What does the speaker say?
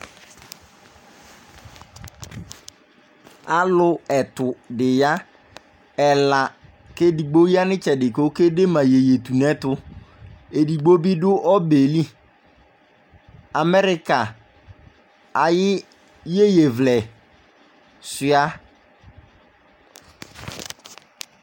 Alʋ ɛtʋ di ya Ɛla, kʋ ɛdigbo ya nʋ itsɛdi kʋ okede ma iyeyetunɛtʋ Ɛdigbo bi dʋ ɔbɛ yɛ li Amɛrika ayu iyeyevlɛ suia